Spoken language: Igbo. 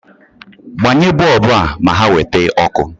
Gbanye boobu a ma ha nweta ọkụ